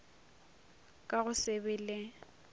ka go se be le